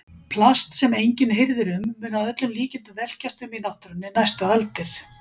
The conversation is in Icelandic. Plast sem enginn hirðir um mun að öllum líkindum velkjast um í náttúrunni næstu aldir.